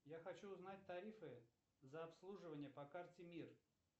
я хочу узнать тарифы за обслуживание по карте мир